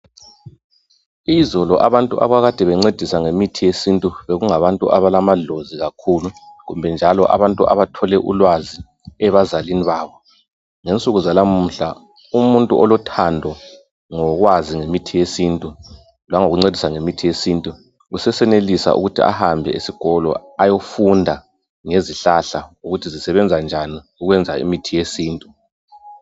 Izolo abantu abakade bencedisa ngemithi yesintu bekungabantu abalana dlozi kakhulu kumbe njalo abantu abathole ulwazi ebazalini babo ngensuku zanamuhla umuntu olothando ngokukwazi ngemithi yesintu langikuncedisa ngemithi yesintu usesenelisa ukuthi ahambe esikolo ayefunda ngezihlahla ukuthi zisebenza njani ukwenza imithi yesintu.